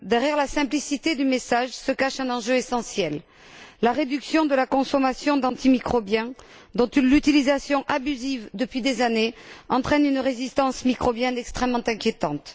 Derrière la simplicité du message, se cache un enjeu essentiel la réduction de la consommation d'antimicrobiens dont une utilisation abusive, depuis des années, entraîne une résistance microbienne extrêmement inquiétante.